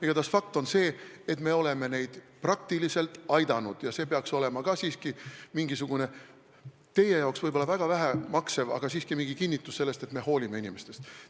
Igatahes on fakt see, et me oleme neid praktiliselt aidanud ja see peaks olema ka siiski mingisugune – teie arvates on see võib-olla väga vähe maksev, aga siiski – kinnitus selle kohta, et me hoolime inimestest.